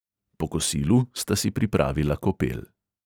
Po kosilu sta si pripravila kopel.